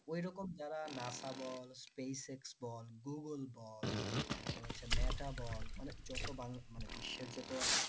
ওই রকম যারা NASA বল SpaceX বল google বল তার পর হচ্ছে meta বল মানে যত বাংলা মানে বিশ্বের যত